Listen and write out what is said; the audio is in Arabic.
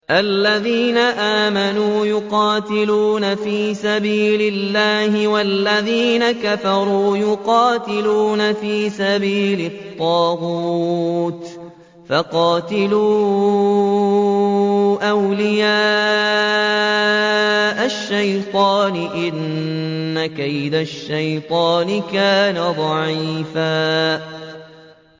الَّذِينَ آمَنُوا يُقَاتِلُونَ فِي سَبِيلِ اللَّهِ ۖ وَالَّذِينَ كَفَرُوا يُقَاتِلُونَ فِي سَبِيلِ الطَّاغُوتِ فَقَاتِلُوا أَوْلِيَاءَ الشَّيْطَانِ ۖ إِنَّ كَيْدَ الشَّيْطَانِ كَانَ ضَعِيفًا